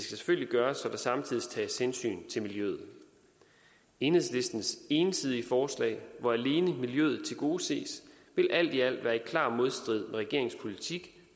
selvfølgelig gøres så der samtidig tages hensyn til miljøet enhedslistens ensidige forslag hvor alene miljøet tilgodeses vil alt i alt være i klar modstrid regeringens politik